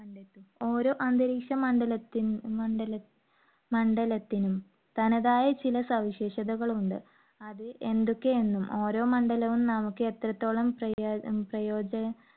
ഓരോ അന്തരീക്ഷ മണ്ഡല~ മണ്ഡല~മണ്ഡലത്തിനും, തനതായ ചില സവിശേഷതകളുണ്ട്. അത് എന്തൊക്കെയെന്നും, ഓരോ മണ്ഡലവും നമുക്ക് എത്രത്തോളം പ്രയോ~പ്രയോജ~